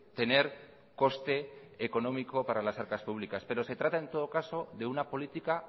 tener coste económico para las arcas públicas pero se trata en todo caso de una política